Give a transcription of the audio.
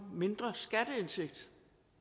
mindre skatteindtægt